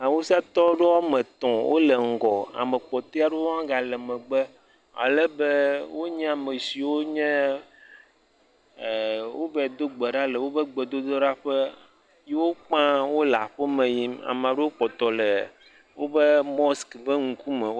Awusatɔ aɖewo wɔme etɔ̃ wo le ŋgɔ. Ame kpɔtɔe aɖewo hã ga le megbe ale be wonye ame siwo nye e wova do gbe ɖa le woƒe gbedoɖaƒe. ye wo kpa wo le aƒe me yim. Ame aɖewo kpɔtɔ le woƒe mosk ƒe ŋkume.